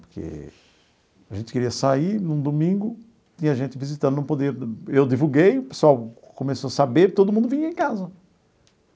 Porque a gente queria sair num domingo, tinha gente visitando, não podia... Eu divulguei, o pessoal começou a saber, todo mundo vinha em casa.